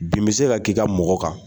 Bin bɛ se ka k'i ka mɔgɔ kan.